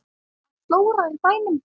Hann slórar í bænum.